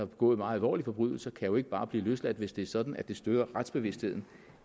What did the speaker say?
begået meget alvorlige forbrydelser kan jo ikke bare blive løsladt hvis det er sådan at det støder retsbevidstheden